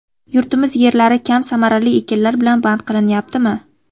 Yurtimiz yerlari kam samarali ekinlar bilan band qilinyaptimi?